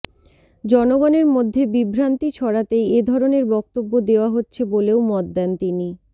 জনগণের মধ্যে বিভ্রান্তি ছড়াতেই এ ধরনের বক্তব্য দেওয়া হচ্ছে বলেও মত দেন তিনি